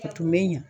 A tun bɛ ɲɛ